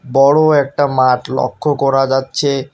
বড়ো একটা মাঠ লক্ষ্য করা যাচ্ছে।